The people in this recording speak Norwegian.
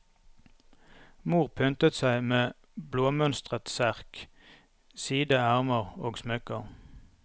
Mor pyntet seg med blåmønstret serk, side ermer og smykker.